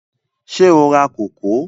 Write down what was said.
Ṣé o ra kókò?